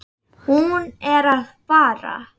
Hún er að fara.